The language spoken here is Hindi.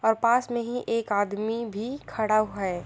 और पास में ही एक आदमी भी खड़ा है।